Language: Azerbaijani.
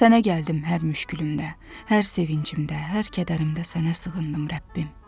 Sənə gəldim hər müşkülündə, hər sevincimdə, hər kədərimdə sənə sığındım, Rəbbim.